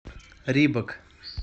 рибок